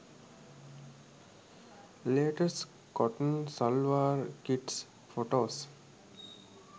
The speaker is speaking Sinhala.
latest cotton shalwar kits photos